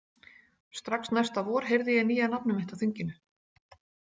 Strax næsta vor heyrði ég nýja nafnið mitt á þinginu.